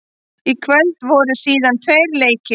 Í kvöld voru síðan tveir leikir.